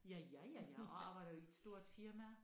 Ja ja ja ja og arbejder i et stort firma